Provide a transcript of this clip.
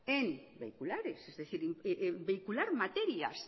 en vehiculares es decir vehicular materias